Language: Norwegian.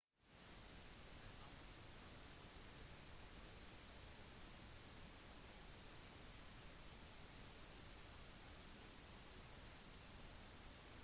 i kampen fikk nadal åttiåtte prosent nettopoeng og vant 76 poeng i den første serven